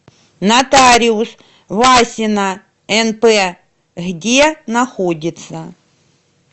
нотариус васина нп где находится